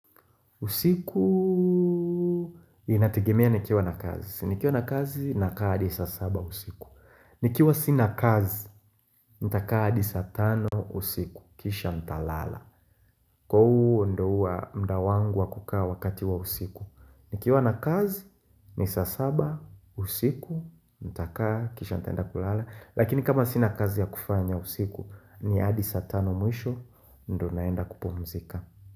Usiku, inategemea nikiwa na kazi. Nikiwa na kazi, nakaa adi sa saba usiku. Nikiwa sina kazi, ntakaa adi sa tano usiku. Kisha ntalala. Kwa uo ndo uwa mda wangu wakukaa wakati wa usiku. Nikiwa na kazi, nisaa saba usiku, ntakaa kisha ntaenda kulala, lakini. Nkama sina kazi ya kufanya usiku. Ni adi saa tano mwisho. Ndo naenda kupomzika.